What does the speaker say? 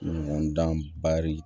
Ɲɔgɔn dan bari